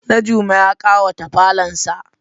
Najume ya k'awata falonsa.